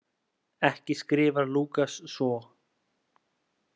Ekki skrifar Lúkas svo.